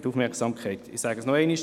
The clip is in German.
Ich sage es noch einmal: